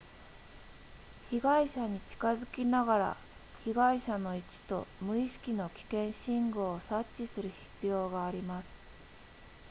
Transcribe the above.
被害者に近づきながら被害者の位置と無意識の危険信号を察知する必要があります